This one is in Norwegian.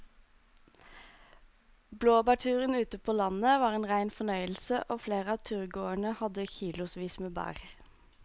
Blåbærturen ute på landet var en rein fornøyelse og flere av turgåerene hadde kilosvis med bær.